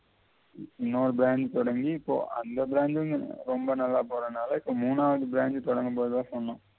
இன்னொரு brand தொடங்கி இப்போ அந்த brand உம் ரொம்ப நல்லா போறனால இப்ப மூணாவது brand உம் தொடங்க போவதாக சொன்னான்